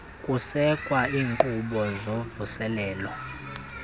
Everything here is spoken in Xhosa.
kusekwa iinkqubo zovuselelo